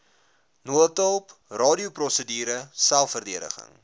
noodhulp radioprosedure selfverdediging